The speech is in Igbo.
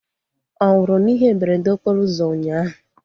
Ọ nwụrụ na ihe mberede okporo ụzọ ụnyaahụ?